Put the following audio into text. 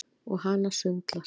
Og hana sundlar.